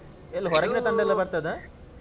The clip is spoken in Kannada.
ಎಲ್ಲಾ ಹೊರಗಿನ ತಂಡಯೆಲ್ಲಾ ಬರ್ತದಾ?